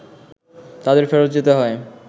তাদের ফেরত যেতে হয়